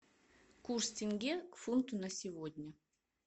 курс тенге к фунту на сегодня